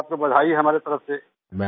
ये आपको बधाई है हमारी तरफ़ से